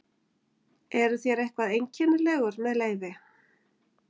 Eruð þér eitthvað einkennilegur með leyfi?